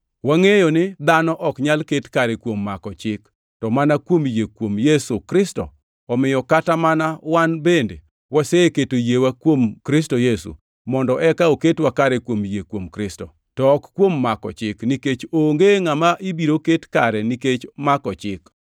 wangʼeyo ni dhano ok nyal ket kare kuom mako Chik, to mana kuom yie kuom Yesu Kristo. Omiyo kata mana wan bende waseketo yiewa kuom Kristo Yesu, mondo eka oketwa kare kuom yie kuom Kristo, to ok kuom mako chik, nikech onge ngʼama ibiro ket kare nikech mako chik.